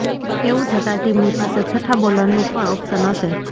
એવું થતાં ટીમની પાસે છઠ્ઠા બોલરનું પણ ઓપ્શન હશે